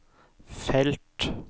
felt